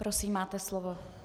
Prosím, máte slovo.